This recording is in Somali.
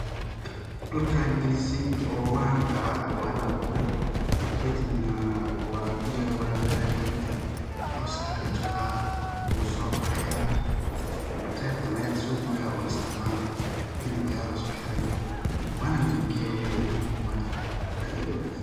Dhulkaa galisay oo waa la aburaay, kadibna biya lawarawiyaa gedka, cawska laga jafaa wuu so baxayaa kadib qeybtan aya laso goyaa oo laisticmalo kadib aya laisku xiray waana laibgiya walibana waana aad iyo aad u wanagsan.